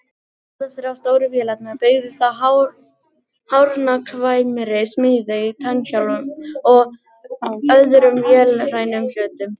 Allar þrjár stóru vélarnar byggðust á hárnákvæmri smíð á tannhjólum og öðrum vélrænum hlutum.